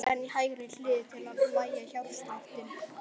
Síðan á hægri hlið til að hægja hjartsláttinn.